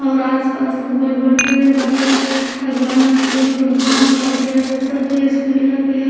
और आस पास खूब बड़-बड़ पेड़ बाटे आ ग्राउंडवा में छोट-छोट घास बाटे और सब स्कूलिया के --